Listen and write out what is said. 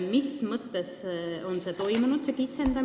Mis mõttes kitsendamine on toimunud?